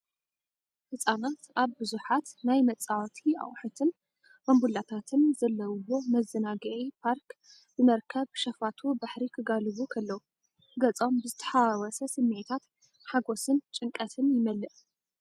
ህጻናት ኣብ ብዙሓት ናይ መፃወቲ ኣቕሑትን ባምቡላታትን ዘለውዎ መዘናግዒ ፓርክ ብመርከብ ሸፋቱ ባሕሪ ክጋልቡ ከለዉ፡ ገጾም ብዝተሓዋወሰ ስምዒታት ሓጎስን ጭንቀትን ይመልእ።